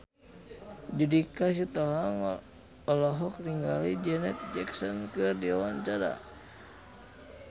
Judika Sitohang olohok ningali Janet Jackson keur diwawancara